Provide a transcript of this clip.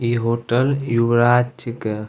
इ होटल युवराज छीके।